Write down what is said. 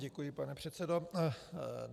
Děkuji, pane předsedo.